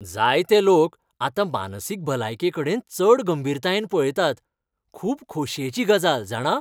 जायते लोक आतां मानसीक भलायकेकडेन चड गंभीरतायेन पळयतात. खूब खोशयेची गजाल, जाणा.